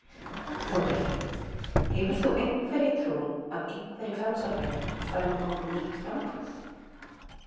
Þórhildur: Hefur þú einhverja trú á að einhverjir Framsóknarmenn fari með honum í nýtt framboð?